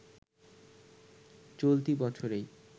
চলতি বছরেই